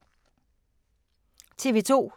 TV 2